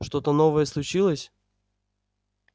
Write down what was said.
что-то новое случилось